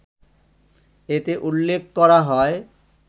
এতে উল্লেখ করা হয়